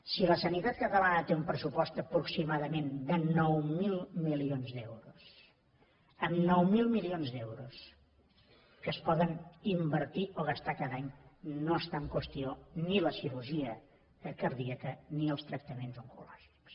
si la sanitat catalana té un pressupost aproximadament de nou mil milions d’euros amb nou mil milions d’euros que es poden invertir o gastar cada any no estan en qüestió ni la cirurgia cardíaca ni els tractaments oncològics